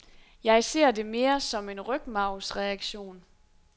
Jeg ser det mere som en rygmarvsreaktion.